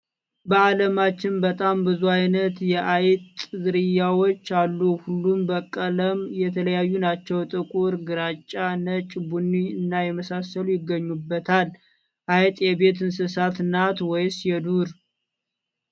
በአለማችን በጣም ብዙ አይነት የአይጥ ዝርያዎች አሉ። ሁሉም በቀለም የተለያዩ ናቸው። ጥቁር፣ ግራጫ፣ ነጭ፣ ቡኒ እና የመሳሰሉት ይገኙበታል። አይጥ የቤት እንሰሳ ናት ወይስ የዱር?